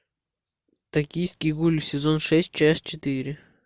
токийский гуль сезон шесть часть четыре